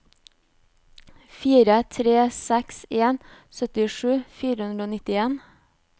fire tre seks en syttisju fire hundre og nittien